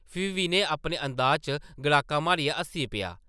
फ्ही विनय अपने अंदाज़ च गड़ाका मारियै हस्सी पेआ ।